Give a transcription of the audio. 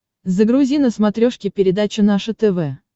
загрузи на смотрешке передачу наше тв